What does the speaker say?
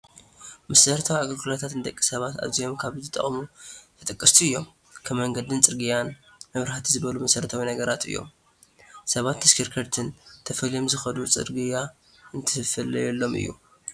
መሰረታዊ ኣገልግሎታት ንደቂ ሰባት ኣዝዮም ካብ ዝጠቕሙ ተጠቀስቲ እዮም፡፡ ከም መንገድን ፅርግያን፣ መብራሕቲ ዝበሉ መሰረታዊ ነገራት እዮም፡፡ ሰብን ተሽከርከርትን ተፈልዮም ዝኸዱ ፅርግያ እንትፍለየሎም እዩ፡፡